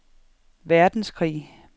verdenskrig